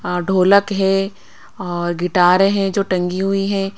हाँ ढोलक है और गिटार है जो टंगी हुई है।